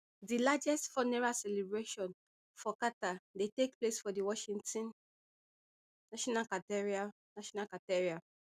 di largest funeral celebration for carter dey take place for di washington national cathedral national cathedral